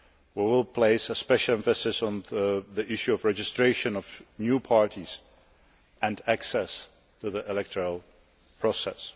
We will place a special emphasis on the issue of the registration of new parties and access to the electoral process.